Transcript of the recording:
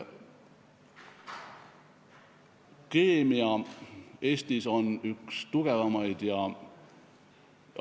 Keemia on Eestis üks tugevamaid teadusvaldkondi.